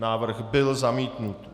Návrh byl zamítnut.